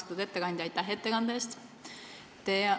Austatud ettekandja, aitäh ettekande eest!